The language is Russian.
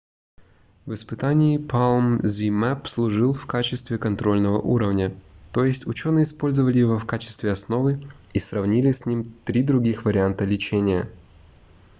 в испытании palm zmapp служил в качестве контрольного уровня то есть учёные использовали его в качестве основы и сравнили с ним три других варианта лечения